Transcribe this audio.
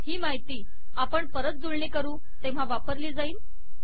ही माहिती आपण परत जुळणी करू तेव्हा वापरली जाईल